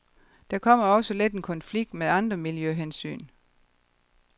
Der kommer også let en konflikt med andre miljøhensyn.